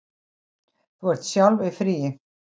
Þú ert sjálf í fríi.